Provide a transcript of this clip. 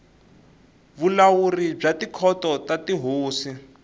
vulawuri bya tikhoto ta tihosi